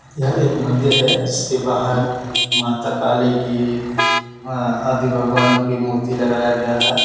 यह एक मंदिर है जिसके बाहर माता काली की आदि भगवानों की मूर्ति लगाया गया है।